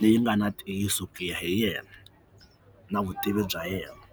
leyi nga na ntiyiso ku ya hi yena na vutivi bya yena.